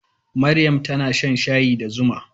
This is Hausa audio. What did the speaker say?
Maryam tana shan shayi da zuma.